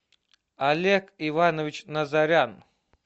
олег иванович назарян